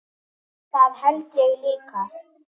Það held ég líka